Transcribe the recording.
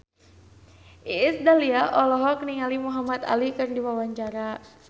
Iis Dahlia olohok ningali Muhamad Ali keur diwawancara